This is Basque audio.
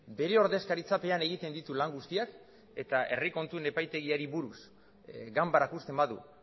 bere ordezkaritzapean egiten ditu lan guztiak eta herri kontuen epaitegiari buruz ganbarak uzten badu